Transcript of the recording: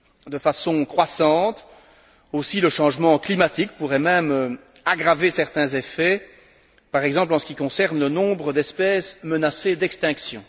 De façon croissante aussi, le changement climatique pourrait même aggraver certains effets, par exemple en ce qui concerne le nombre d'espèces menacées d'extinction.